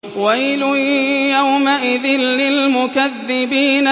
وَيْلٌ يَوْمَئِذٍ لِّلْمُكَذِّبِينَ